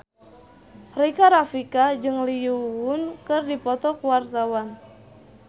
Rika Rafika jeung Lee Yo Won keur dipoto ku wartawan